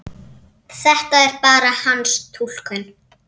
Þetta er bara hans túlkun.